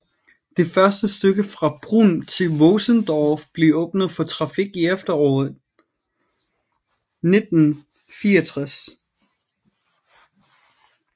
Det første stykke fra Brunn til Vösendorf blev åbnet for trafik i efteråret 1964